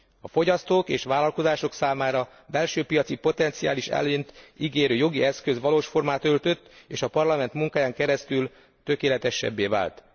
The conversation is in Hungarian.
A fogyasztók és vállalkozások számára belső piaci potenciális előnyt ígérő jogi eszköz valós formát öltött, és a Parlament munkáján keresztül tökéletesebbé vált.